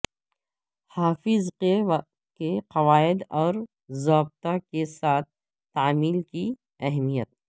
حفاظت کے قواعد و ضوابط کے ساتھ تعمیل کی اہمیت